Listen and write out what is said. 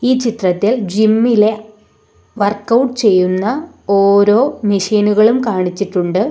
ഈ ചിത്രത്തിൽ ജിം ഇലെ വർക്ക് ഔട്ട് ചെയ്യുന്ന ഓരോ മെഷീനുകളും കാണിച്ചിട്ടുണ്ട്.